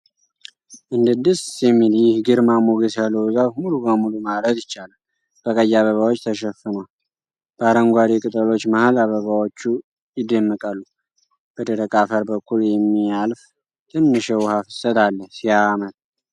እንዴት ደስ የሚል! ይህ ግርማ ሞገስ ያለው ዛፍ ሙሉ በሙሉ ማለት ይቻላል በቀይ አበባዎች ተሸፍኗል ። በአረንጓዴ ቅጠሎቹ መሀል አበባዎቹ ይደመቃሉ። በደረቅ አፈር በኩል የሚያልፍ ትንሽ የውሃ ፍሰት አለ። ሲያምር!